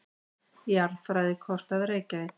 Jarðfræðikort af Reykjavík.